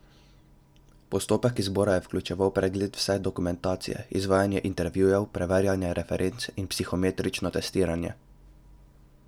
Postopek izbora je vključeval pregled vse dokumentacije, izvajanje intervjujev, preverjanje referenc in psihometrično testiranje.